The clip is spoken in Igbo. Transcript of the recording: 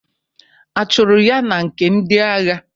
A chụrụ ya na nke ndị agha?